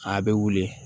A bɛ wuli